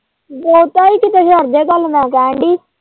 ਬਹੁਤਾ ਹੀ ਕਿਤੇ ਛੱਡ ਦੇ ਗੱਲ ਮੈਂ ਕਹਿਣ ਦਈ।